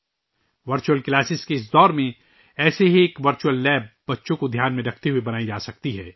virtual classes کے اس دور میں بچوں کو ذہن میں رکھتے ہوئے ایسی ہی ایک ورچوئل لیب بنائی جا سکتی ہے